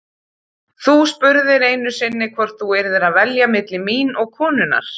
Þú spurðir einu sinni hvort þú yrðir að velja milli mín og konunnar.